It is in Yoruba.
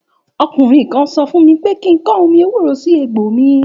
Òkúnrìn kan sò fún mí pẹ kikan òmí èwúrò si ègbó mí